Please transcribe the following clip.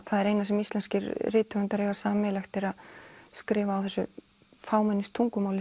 eina sem íslenskir rithöfundar eiga sameiginlegt er að skrifa á þessu